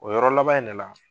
O yɔrɔ laban in ne la